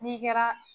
N'i kɛra